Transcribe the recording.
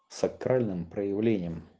сакральным проявлением